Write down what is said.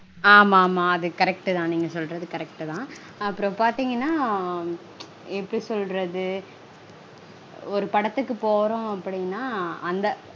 ஆமா ஆமா அது correct -தா நீங்க சொல்றது correct -தா. அப்பறம் பாத்தீங்கனா எப்படி சொல்ரது? ஒரு படத்துக்கு போறோம் அப்டீனா அந்த